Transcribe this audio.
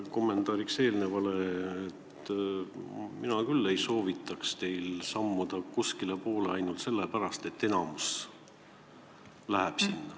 Kommentaariks eelnevale: mina küll ei soovitaks teil sammuda kuskilepoole ainult sellepärast, et enamus sinna läheb.